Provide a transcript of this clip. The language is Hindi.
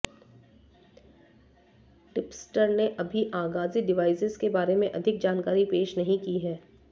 टिप्सटर ने अभी आगामी डिवाइसेज़ के बारे में अधिक जानकारी पेश नहीं की है